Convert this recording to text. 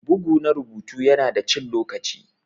Bugu na rubutu yana da cin lokaci.